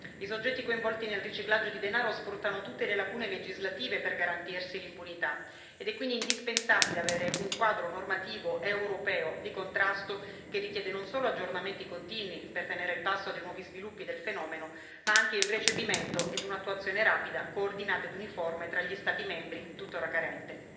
I soggetti coinvolti nel riciclaggio di denaro sfruttano tutte le lacune legislative per garantirsi l'impunità ed è quindi indispensabile avere un quadro normativo europeo di contrasto che richiede non solo aggiornamenti continui, per tenere il passo dei nuovi sviluppi del fenomeno, ma anche il recepimento e un'attuazione rapida, coordinata ed uniforme tra gli Stati membri, tuttora carente.